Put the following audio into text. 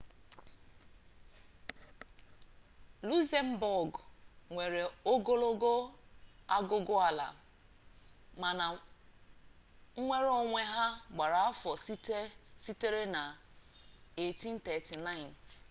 luzembọọgụ nwere ogologo agụgụala mana nnwere onwe ya gbara afọ sitere na 1839